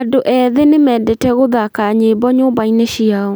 Andũ ethĩ nĩmendete gũthaka nyĩmbo nyũmba-inĩ ciao